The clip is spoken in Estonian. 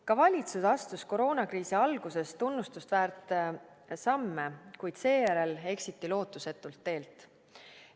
Ka valitsus astus koroonakriisi alguses tunnustust väärt samme, kuid seejärel eksiti lootusetult teelt.